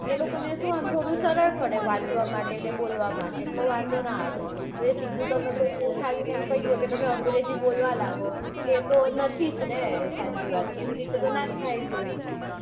એ લોકોને સુ આમ થોડું સરળ પડે વાંચવા માટે ને બોલવા માટે એટલેઓ વાંધો ના આવે હવે એ તમને સીધું ઉઠાવીને કઈ દે કે અંગ્રેજી બોલવા લાગો તો એતો નથી જ ને સાચી વાત એવી રીતે તો ના જ થાય કોઈથી.